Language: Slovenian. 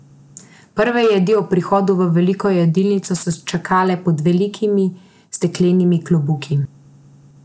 Prve jedi ob prihodu v veliko jedilnico so čakale pod velikimi steklenimi klobuki.